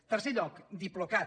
en tercer lloc diplocat